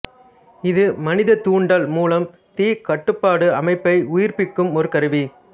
இது மனிதத்தூண்டல் மூலம் தீ கட்டுப்பாட்டு அமைப்பை உயிர்ப்பிக்கும் ஒரு கருவி